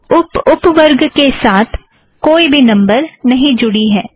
अब उप उप वर्ग के साथ कोई भी नम्बर नहीं जुड़ी है